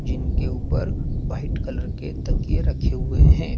जिनके ऊपर white colour के तकिया रखे हुए हैं।